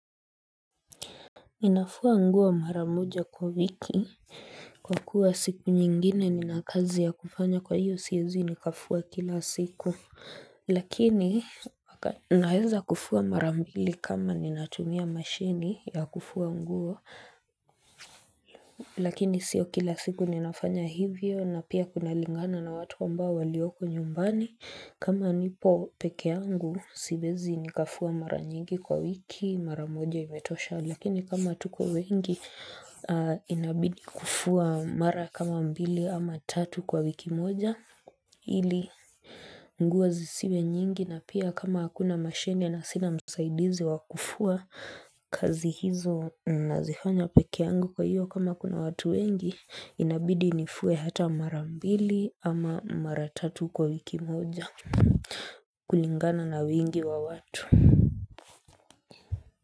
Ninafua nguo mara moja kwa wiki kwa kuwa siku nyingine nina kazi ya kufanya kwa hiyo siezi nikafua kila siku lakini naeza kufua mara mbili kama ninatumia mashini ya kufua nguo lakini sio kila siku ninafanya hivyo na pia kunalingana na watu ambao walioko nyumbani kama nipo peke yangu, siwezi nikafua mara nyingi kwa wiki, mara moja imetosha, lakini kama tuko wengi, inabidi kufua mara kama mbili ama tatu kwa wiki moja, ili nguo zisiwe nyingi na pia kama akuna mashini na sina msaidizi wakufua, kazi hizo nazifanya peke yangu kwa hiyo kama kuna watu wengi, inabidi nifue hata mara mbili ama mara tatu kwa wiki moja. Kulingana na wingi wa watu.